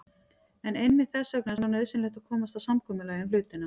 En einmitt þess vegna er svo nauðsynlegt að komast að samkomulagi um hlutina.